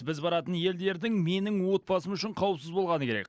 біз баратын елдердің менің отбасым үшін қауіпсіз болғаны керек